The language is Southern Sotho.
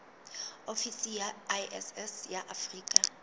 ofisi ya iss ya afrika